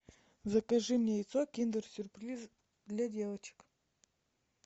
закажи мне яйцо киндер сюрприз для девочек